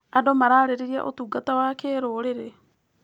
Andũ mararĩrĩria ũtungata wa kĩrũrĩrĩ.